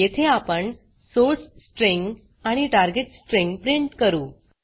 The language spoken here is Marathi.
येथे आपण सोर्स स्ट्रिंग आणि टार्गेट स्ट्रिंग प्रिंट करू